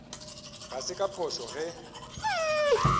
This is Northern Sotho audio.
ga se ka phošo ge